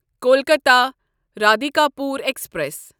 Kolkata Radhikapur express